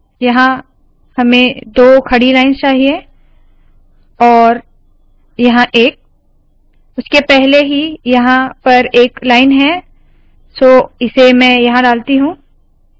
यहाँ हमें दो खड़ी लाइन्स चाहिए और यहाँ एक उसके पहले ही यहाँ पर एक लाइन है सो इसे मैं यहाँ डालती हूँ